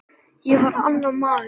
Ég varð annar maður.